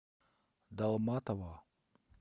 далматово